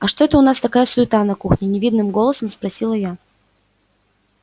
а что это у нас такая суета на кухне невинным голосом спросила я